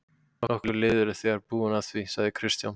Nokkur lið eru þegar búin að því, sagði Kristján.